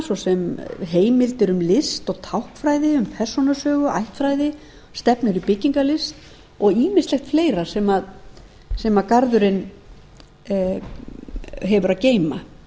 svo sem heimildir um list og táknfræði um persónusögu ættfræði stefnur í byggingarlist og ýmislegt fleira sem garðurinn hefur að geyma